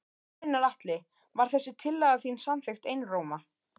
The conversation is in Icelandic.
Gunnar Atli: Var þessi tillaga þín samþykkt einróma?